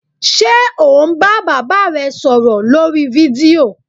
Ṣe o n ba baba re sọrọ lorí fídío?